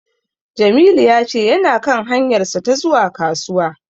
Jamilu ya ce yana kan hanyarsa ta zuwa Kasuwa.